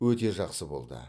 өте жақсы болды